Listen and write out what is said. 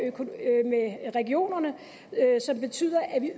regionerne som betyder at vi